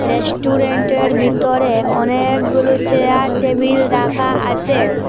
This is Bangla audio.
রেস্টুরেন্টের বিতরে অনেকগুলো চেয়ার টেবিল রাখা আছে।